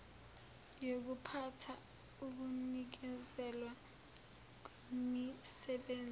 yokuphatha ukunikezelwa kwemisebenzi